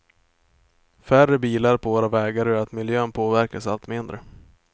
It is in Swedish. Färre bilar på våra vägar gör att miljön påverkas allt mindre.